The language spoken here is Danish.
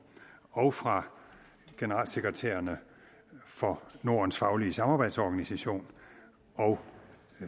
og fra generalsekretærerne for nordens faglige samarbejdsorganisation og